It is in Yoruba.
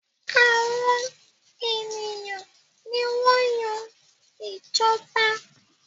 Àwọn ènìyàn ní wan Yàn ìjọba